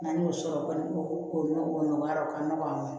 N'an y'o sɔrɔ o kɔni o nɔgɔyara o ka nɔgɔ a ma